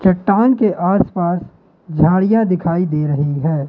चट्टान के आसपास झाड़ियां दिखाई दे रही है।